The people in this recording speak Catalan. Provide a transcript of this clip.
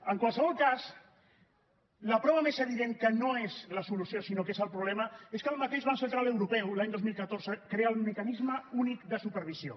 en qualsevol cas la prova més evident que no és la solució sinó que és el problema és que el mateix banc central europeu l’any dos mil catorze crea el mecanisme únic de supervisió